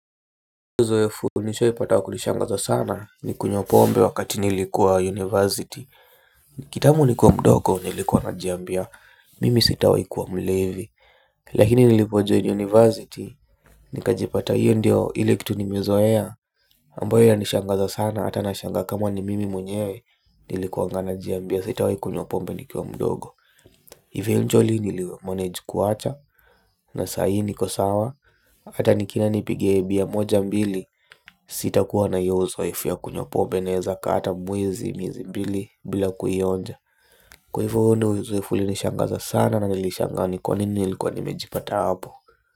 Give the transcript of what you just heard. Zoefu nishawahi pata wa kunishangaza sana ni kunywa pombe wakati nilikuwa university. Kitambo nikiwa mdogo nilikuwa najiambia mimi sitawahi kuwa mlevi. Lakini nilipojoin university nikajipata hiyo ndio ile kitu nimezoea ambayo yanishangaza sana ata nashangaa kama ni mimi mwenyewe. Nilikuwanga najiambia sitawahi kunywa pombe nikuwa mdogo eventually nilimanage kuwacha. Na sahii niko sawa ata nikienda nipige bia moja mbili sitakuwa na hio uzoefu ya kunywa pombe naeza kaa hata mwezi miezi mbili bila kuionja. Kwa hivo huo ndo uzoefu ulinishangaza sana na nilishangaa ni kwa nini nilikuwa nimejipata hapo.